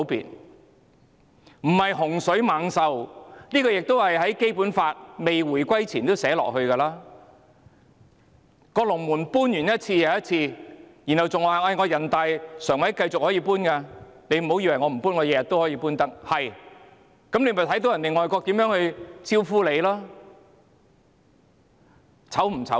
雙普選並非洪水猛獸，香港回歸前《基本法》已訂明，政府一次又一次搬龍門，還說人大常委會可繼續搬龍門，不要以為他們不會搬，他們每天也可以搬龍門。